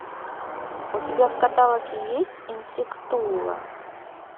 у тебя в каталоге есть инсектула